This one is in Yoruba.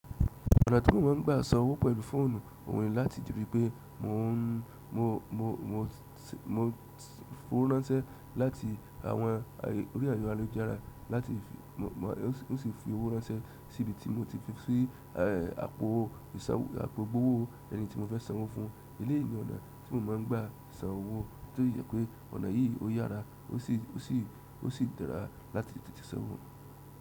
Ọ̀nà tí mo má ń gba sanwó pẹ̀lú fóònù ó ń ni láti rípé mo n mo, mo, mo, mo foworánṣẹ láti àwọn orí ẹ̀rọ alujara láti fi mo mo o sì fi owó ránṣẹ́ síbi tí mo tí fi sí eh àpò ìṣànwọ̀ àpò gbowó ẹni tí mo fẹ sánwó fún. Eléyí ni ọ̀nà tí mo má ń gbà san owó, èyí tó yẹ pé ọ̀nà yìí o yára o sì o sì o sì dára láti tètè sanwó.